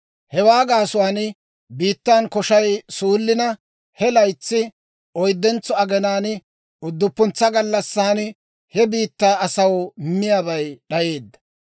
Hewaa gaasuwaan biittan koshay suullina, he laytsi oyddentso aginaan, udduppuntsa gallassan, he biittaa asaw miyaabay d'ayeedda.